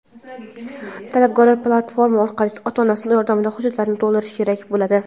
Talabgor platforma orqali ota-onasi yordamida hujjatlarni to‘ldirishi kerak bo‘ladi.